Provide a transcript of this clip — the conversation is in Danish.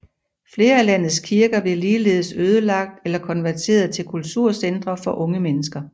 Flere af landets kirker blev ligeledes ødelagt eller konverteret til kulturcentre for unge mennesker